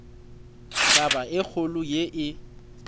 taba e kgolo ye e